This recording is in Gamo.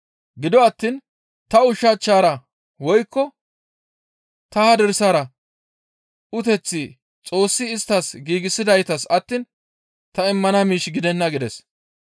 Gido attiin ta ushachchara woykko ta hadirsara uteththi Xoossi isttas giigsidaytas attiin ta immana miish gidenna» gides.